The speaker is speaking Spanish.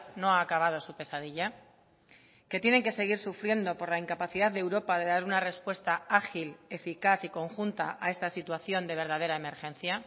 no ha acabado su pesadilla que tienen que seguir sufriendo por la incapacidad de europa de dar una respuesta ágil eficaz y conjunta a esta situación de verdadera emergencia